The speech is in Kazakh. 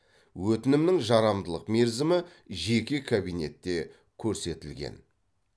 өтінімнің жарамдылық мерзімі жеке кабинетте көрсетілген